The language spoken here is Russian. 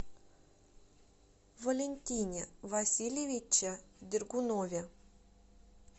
валентине васильевиче дергунове